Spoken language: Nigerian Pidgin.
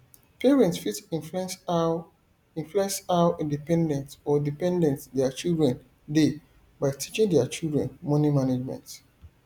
parent fit influence how influence how independent or dependent their children dey by teaching their children money management